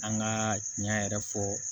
An ka ɲɛn yɛrɛ fɔ